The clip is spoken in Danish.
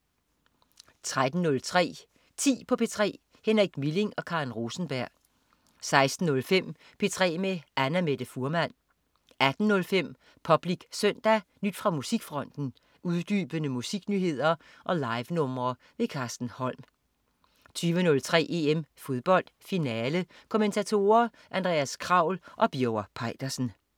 13.03 10 på P3. Henrik Milling og Karen Rosenberg 16.05 P3 med Annamette Fuhrmann 18.05 Public Søndag. Nyt fra musikfronten, uddybende musiknyheder og livenumre. Carsten Holm 20.03 EM Fodbold. Finale.Kommentatorer: Andreas Kraul og Birger Peitersen